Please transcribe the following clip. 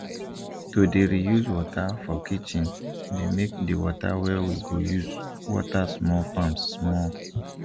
to dey reuse water for kitchendey make the water wey we go use water small farms small